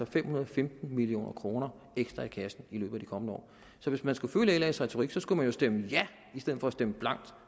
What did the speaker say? fem hundrede og femten million kroner ekstra i kassen i løbet af de kommende år så hvis man skulle følge las retorik skulle man jo stemme ja i stedet for at stemme blankt